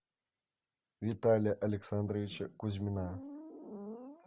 виталия александровича кузьмина